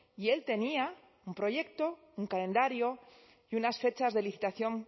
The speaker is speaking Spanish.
y él tenía un proyecto un calendario y unas fechas de licitación